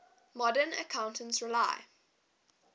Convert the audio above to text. modern accounts rely